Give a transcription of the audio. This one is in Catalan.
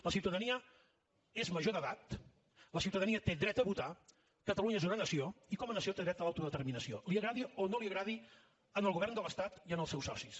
la ciutadania és major d’edat la ciutadania té dret a votar catalunya és una nació i com a nació té dret a l’auto determinació agradi o no agradi al govern de l’estat i als seus socis